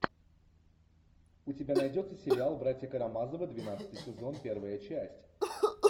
у тебя найдется сериал братья карамазовы двенадцатый сезон первая часть